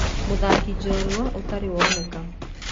Mũthakĩ njorua ũtari woneka.